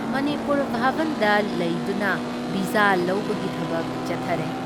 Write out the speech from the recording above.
ꯃꯅꯤꯄꯨꯔ ꯚꯥꯕꯟꯗ ꯂꯩꯗꯨꯅ ꯚꯤꯁꯥ ꯂꯧꯕꯒꯤ ꯊꯕꯛ ꯆꯠꯊꯔꯦ ꯫